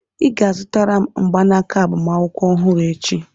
Ị ga-azụtara m mgbanaka agbamakwụkwọ ọhụrụ echi!